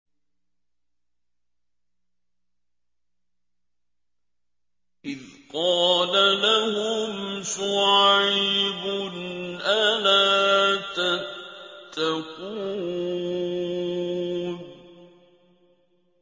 إِذْ قَالَ لَهُمْ شُعَيْبٌ أَلَا تَتَّقُونَ